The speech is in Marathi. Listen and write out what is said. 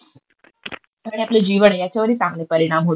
आणि आपलं जीवन आहे याच्यावरही चांगले परिणाम होतील.